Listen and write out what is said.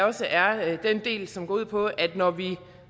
også er er den del som går ud på at når vi